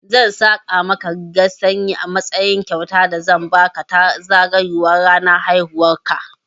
Zan saƙa maka rigar sanyi a matsayin kyautar da zan baka ta zagayowar ranar haihuwan ka.